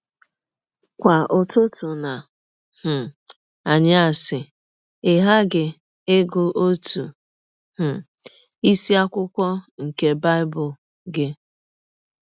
Kwa ụtụtụ na um anyasị ị ghaghị ịgụ ọtụ um isiakwụkwọ nke Bible gị. ”